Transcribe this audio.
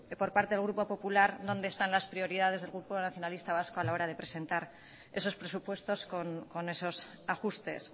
por parte del grupo popular dónde están las prioridades del grupo nacionalista vasco a la hora de presentar esos presupuestos con esos ajustes